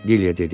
Dilyə dedi.